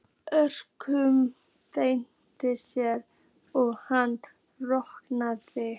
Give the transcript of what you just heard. öskraði Berti eins og hann orkaði.